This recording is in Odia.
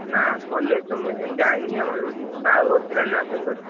ନା college ତ ମୁଁ ଏଖିନା ଯାଇନି ଆଉ ଆମର ବାହାଘର ଥିଲା ନା ଭାଇଙ୍କର।